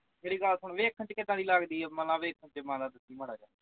ਮੇਰੀ ਗੱਲ ਸੁਣ ਵੇਖਣ ਵਿਚ ਕਿਁਦਾਂ ਦੀ ਲਗਦੀ ਵੇਖ ਕੇ ਦੱਸੀ ਮਾੜਾ ਜਾ